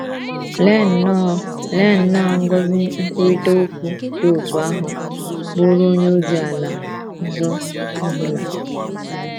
Lee nnọọ Lee nnọọ ngọzi nkwurịta okwu dị otú ahụ bụụrụ onye ozi ala ọzọ ọ bụla!